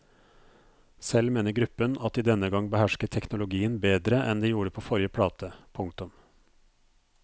Selv mener gruppen at de denne gang behersker teknologien bedre enn de gjorde på forrige plate. punktum